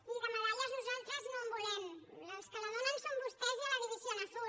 miri de medalles nosaltres no en volem els que la donen són vostès i a la división azul